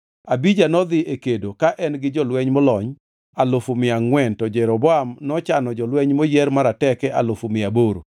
Abija nodhi e kedo ka en gi jolweny molony alufu mia angʼwen to Jeroboam nochano jolweny moyier marateke alufu mia aboro.